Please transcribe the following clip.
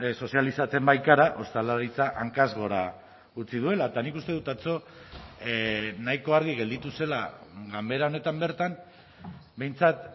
sozializatzen baikara ostalaritza hankaz gora utzi duela eta nik uste dut atzo nahiko argi gelditu zela ganbera honetan bertan behintzat